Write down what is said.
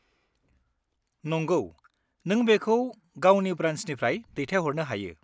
नंगौ, नों बेखौ गावनि ब्रान्सनिफ्राय दैथायहरनो हायो।